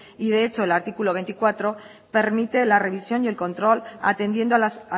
y de hecho el artículo veinticuatro permite la revisión y el control atendiendo a las